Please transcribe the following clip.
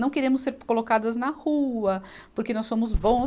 Não queremos ser colocadas na rua, porque nós somos bons.